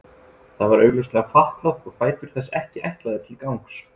Það var augljóslega fatlað og fætur þess ekki ætlaðir til gangs.